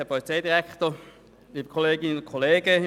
Kommissionssprecher der FiKo.